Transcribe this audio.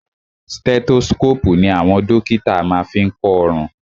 Stethoscopu ní àwọn dókítà má ń fí kọ ọrùn.